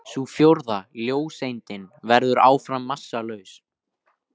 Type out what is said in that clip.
Sú fjórða, ljóseindin, verður áfram massalaus.